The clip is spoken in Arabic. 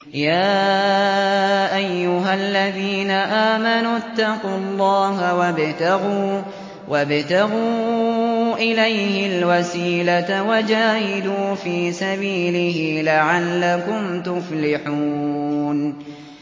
يَا أَيُّهَا الَّذِينَ آمَنُوا اتَّقُوا اللَّهَ وَابْتَغُوا إِلَيْهِ الْوَسِيلَةَ وَجَاهِدُوا فِي سَبِيلِهِ لَعَلَّكُمْ تُفْلِحُونَ